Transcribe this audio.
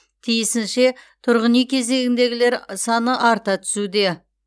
тиісінше тұрғын үй кезегіндегілер саны арта түсуде